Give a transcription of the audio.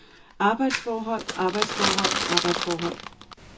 arbejdsforhold arbejdsforhold arbejdsforhold